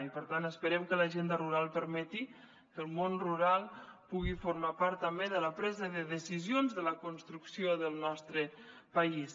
i per tant esperem que l’agenda rural permeti que el món rural pugui formar part també de la presa de decisions de la construcció del nostre país